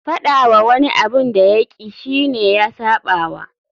Faɗa wa wani abin da ya ƙi shi ne ya saɓawa.